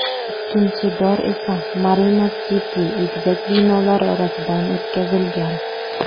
Ikkinchi dor esa Marina City egizak binolari orasidan o‘tkazilgan.